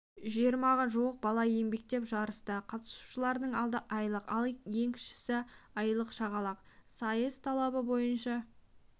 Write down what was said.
жиырмаға жуық бала еңбектеп жарысты қатысушылардың алды айлық ал ең кішісі айлық шақалақ сайыс талабы бойынша